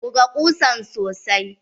Buga ƙusan sosai.